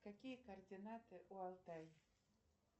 какие координаты у алтай